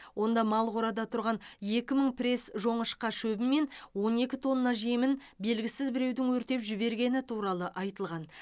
онда мал қорада тұрған екі мың пресс жоңышқа шөбі мен он екі тонна жемін белгісіз біреудің өртеп жібергені туралы айтылған